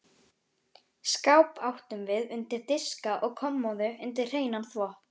Skáp áttum við undir diska og kommóðu undir hreinan þvott.